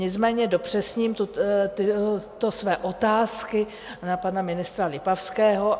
Nicméně dopřesním tyto své otázky na pana ministra Lipavského.